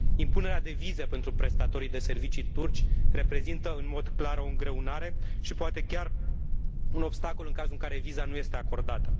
Impunerea de vize pentru prestatorii de servicii turci reprezintă în mod clar o îngreunare și poate chiar un obstacol, în cazul în care viza nu este acordată.